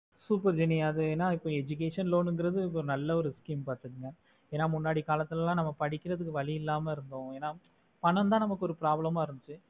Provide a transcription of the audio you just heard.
super jeni அது என்ன education loan வந்து இருக்கு நல்ல ஒரு scheme பாத்துக்கோங்க ஏன்னா முன்னாடி காலத்துளள நம்ம படிக்குறதுக்கு வலி இல்லமே இருந்தோ ஏன்னா பaணம்தா நமக்கு ஒரு problem ஆஹ் இருந்துச்சி